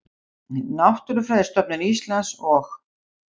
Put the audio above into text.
Auðvitað hefði þetta allt saman gerst, á því gat ekki leikið nokkur vafi.